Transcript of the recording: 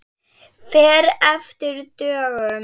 Fer eftir dögum.